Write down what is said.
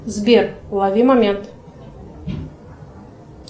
сбер лови момент